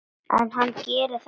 En hann gerir það samt.